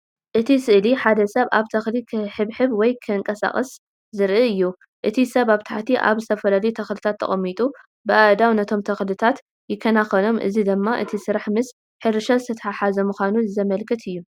እቲ ስእሊ ሓደ ሰብ ኣብ ተኽሊ ክሕብሕብ ወይ ከንቀሳቕስ ዘርኢ እዩ። እቲ ሰብ ኣብ ታሕቲ ኣብ ዝተፈላለዩ ተኽልታት ተቐሚጡ በኣእዳዉ ነቶም ተኽልታት ይከናኸኖም። እዚ ድማ እቲ ስራሕ ምስ ሕርሻ ዝተተሓሓዘ ምዃኑ ዘመልክት እዩ።